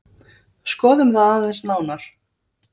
Skoðum það aðeins nánar.